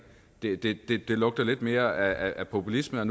det det lugter lidt mere af populisme og